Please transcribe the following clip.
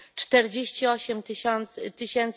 48 tys.